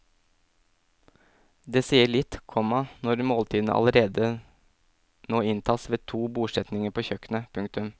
Det sier litt, komma når måltidene allerede nå inntas ved to bordsetninger på kjøkkenet. punktum